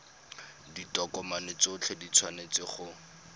ditokomane tsotlhe di tshwanetse go